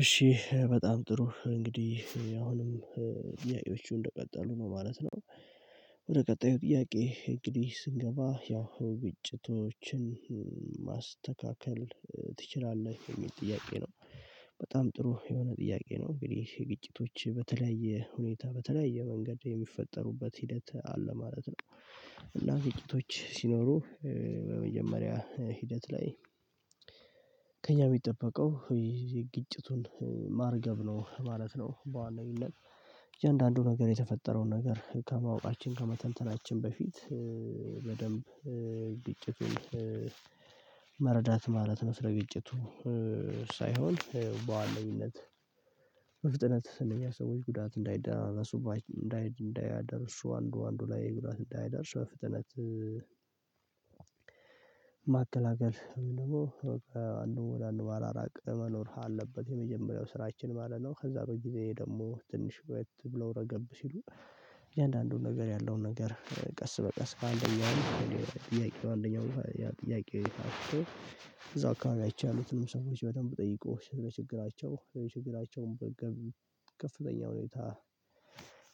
እሺ በጣም ጥሩ እንግዲህ አሁንም ጥያቄዎቹ እንደቀጠሉ ነው ማለት ነው። ወደ ቀጣዩ ጥያቄ እንግዲህ ስንገባ ያው ግጭቶችን ማስተካከል ትችላለህ የሚል ጥያቄ ነው? በጣም ጥሩ የሆነ ጥያቄ ነው። እንግዲህ የግጭቶች በተለያየ ሁኔታ በተለያየ መንገድ የሚፈጠሩበት ሂደት አለ ማለት ነው። እና ግጭቶች ሲኖሩ በመጀመሪያ ሂደት ላይ። ከእኛ የሚጠበቀው የግጭቱን ማርገብ ነው ማለት ነው። በዋለው ይላል። እያንዳንዱ ነገር የተፈጠረውን ነገር ከማወቃችን ከመተንተናችን በፊት በደንብ ግጭቱን መረዳት ማለት ነው። ስለግጭቱ ሳይሆን በዋለሚነት መፍጠነት እንደኛ ሰዎች ጉዳት እንዳይደርሱ እንዳይ እንዳይ እንዳይደርሱ አንዱ አንዱ ላይ ጉዳት እንዳይደርሱ ፍጥነት። ማከላከል ደግሞ በቃ አንድ ወደ አንድ ባራራቅ መኖር አለበት የመጀመሪያው ስራችን ማለት ነው። ከዛ በበት ጊዜ ደግሞ ትንሽ ቤት ብለው ረገብ ሲሉ። የእያንዳንዱን ነገር ያለውን ነገር ቀስ በቀስ በአንደኛው ጥያቄ በአንደኛው ጥያቄ ወይታ አክቶ አካባቢ አይቻሉትም ሰዎች በደንብ ጠይቆ ለችግራቸው ለችግራቸውም በደንብ ከፍተኛ ሁኔታ።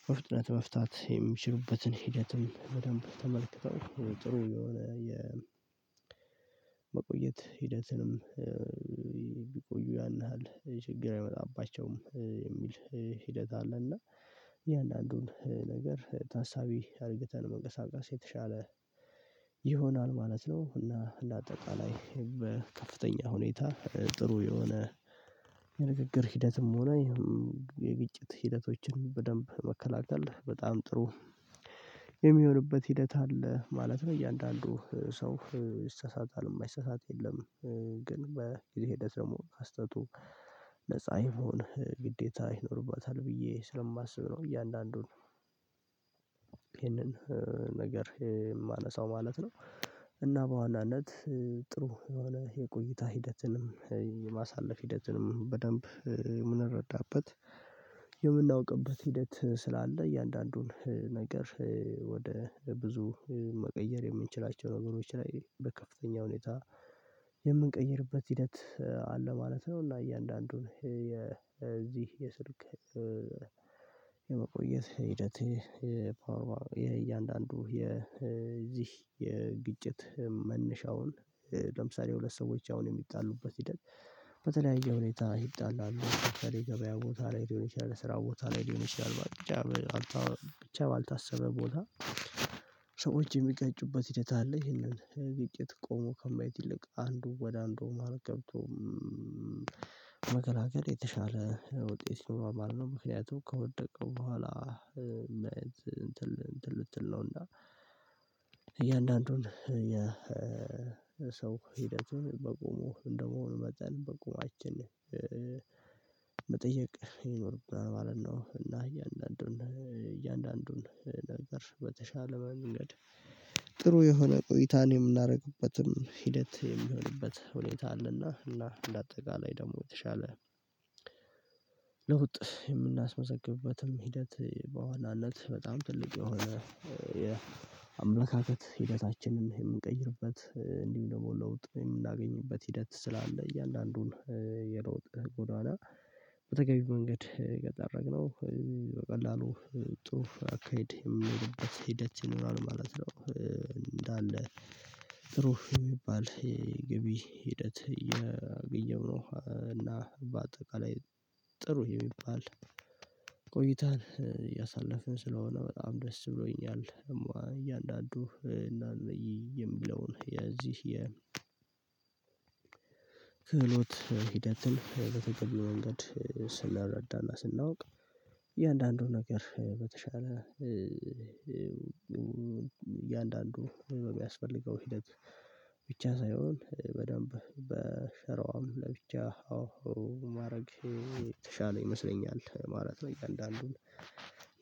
በፍጥነት መፍታት የሚችሉበትን ሂደትም በደንብ ተመልክተው ጥሩ የሆነ የመቆየት ሂደትንም። ቢቆዩ ያን ያህል ችግር አይመጣባቸውም የሚል ሂደት አለ እና። የእያንዳንዱን ነገር ታሳቢ አድርገተን መንቀሳቀስ የተሻለ ይሆናል ማለት ነው። እና ለአጠቃላይ ሁኔታ ጥሩ የሆነ የንግግር ሂደትም ሆነ የግጭት ሂደቶችን በደንብ መከላከል በጣም ጥሩ የሚሆንበት ሂደት አለ ማለት ነው። እያንዳንዱ ሰው ይሳሳታል የማይሰሳት የለም። ግን በጊዜ ሂደት ደግሞ ከስህተቱ አይሆንህ ግዴታ ይኖርበታል ብዬ ስለማስብ ነው። እያንዳንዱን ነገር የማነሳው ማለት ነው። እና በዋናነት ጥሩ የሆነ የቆይታ ሂደትንም የማሳለፍ ሂደትንም በደንብ የምንረዳበት የምናውቅበት ሂደት ስላለ እያንዳንዱን ነገር። ወደ ብዙ መቀየር የምንችላቸው ነገሮች ላይ በከፍተኛ ሁኔታ የምንቀይርበት ሂደት አለ ማለት ነው። እና እያንዳንዱን የዚህ የስልክ የመቆየት ሂደት የእያንዳንዱ የዚህ የግጭት መነሻውን ለምሳሌ ሁለት ሰዎች አሁን የሚጣሉበት ሂደት። በተለያየ ሁኔታ ይጣላሉ የገበያ ቦታ ላይ ሊሆን ይችላል ስራ ቦታ ላይ ሊሆን ይችላል። ብቻ ባልታሰበ ቦታ ሰው እጅ የሚቀጭበት ሂደት አለ። ይሄንን ግጭት ቆሞ ከማየት ይልቅ አንዱ ወደ አንዱ ማረግ ገብቶ። መከላከል የተሻለ ውጤት ነው ማለት ነው። ምክንያቱም ከወደቅን በኋላ እንትን ልትል ነው። እና እያንዳንዱን የሰው ሂደትን በቁሙ እንደመሆኑ መጠን በቁማችን መጠየቅ ይኖርብናል ማለት ነው። እና እያንዳንዱን እያንዳንዱን ነገር በተሻለ መንገድ ጥሩ የሆነ ቆይታን የምናደርግበትም ሂደት የሚሆንበት ሁኔታ አለና። እና ለአጠቃላይ ደግሞ የተሻለ ለውጥ የምናስመዘግብበትም ሂደት በዋናነት በጣም ትልቅ የሆነ የአመላካከት ሂደታችንን የምንቀይርበት እንዲሁ ደግሞ ለውጥ የምናገኝበት ሂደት ስላለ። እያንዳንዱን የለውጥ ጎዳና በተገቢው መንገድ ከጠረግነው በቀላሉ ጥሩ አካሄድ የሚኖርበት ሂደት ይኖራል ማለት ነው። እንዳለ ጥሩ የሚባል የግብይ ሂደት እያገኘሁ ነው እና በአጠቃላይ ጥሩ የሚባል ቆይታን እያሳለፍን ስለሆነ በጣም ደስ ብሎኛል። እያንዳንዱ የሚለውን የዚህ የ ክህሎት ሂደትን በተገኘው መንገድ ስንረዳና ስናውቅ። ነገር በተሻለ እያንዳንዱ የሚያስፈልገው ሂደት ብቻ ሳይሆን በደንብ በሸራዋም ለብቻ ማድረግ የተሻለ ይመስለኛል ማለት ነው። እያንዳንዱን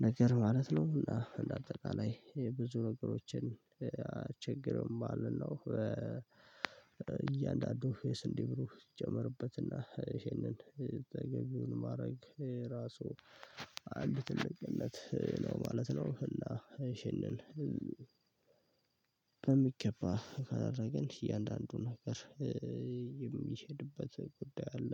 ነገር ማለት ነው እና እንደ አጠቃላይ ላይ ብዙ ነገሮችን አንቸገርም ማለት ነው። እያንዳንዱ የስንዴ ብሩህ ይጀመርበትና ይሄንን ተገቢውን ማድረግ ራሱ አንድ ትልቅለት ነው ማለት ነው። እና እሺ እንል በሚገባ ካደረግን እያንዳንዱን ነገር የሚሄድበት ጉዳይ አለ